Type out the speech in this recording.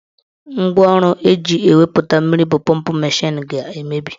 Ngwaọrụ eji ewupụta mmiri bụ pọmp mashin ga-emebi.